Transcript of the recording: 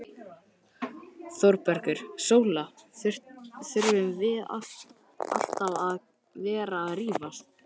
ÞÓRBERGUR: Sóla, þurfum við alltaf að vera að rífast?